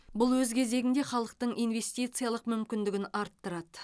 бұл өз кезегінде халықтың инвестициялық мүмкіндігін арттырады